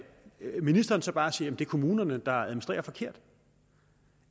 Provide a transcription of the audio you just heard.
ministeren så bare siger at det er kommunerne der administrerer forkert